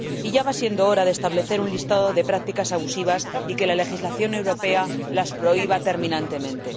Ya va siendo hora de establecer un listado de prácticas abusivas y de que la legislación europea las prohíba terminantemente.